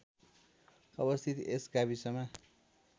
अवस्थित यस गाविसमा